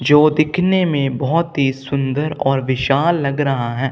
जो दिखने में बहोत ही सुंदर और विशाल लग रहा है।